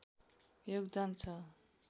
योगदान छ